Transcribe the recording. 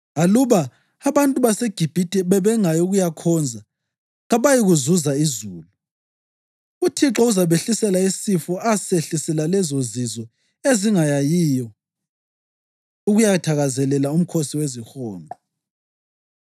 Aluba abantu baseGibhithe bengayi ukuyakhonza, kabayikuzuza izulu. UThixo uzabehlisela isifo asehlisela lezozizwe ezingayiyo ukuyathakazelela uMkhosi weziHonqo.